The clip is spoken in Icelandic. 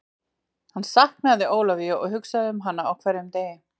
Hann sknaðu Ólafíu og hugsaði um hana á hverjum degi.